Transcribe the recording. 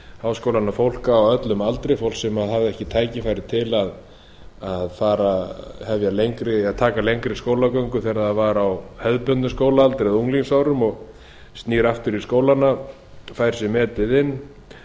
háskólana fólk á öllum aldri fólk sem hafði ekki tækifæri til að taka lengri skólagöngu þegar það var á hefðbundið skólaaldri eða unglingsárum og snýr aftur í skólana fær sig metið inn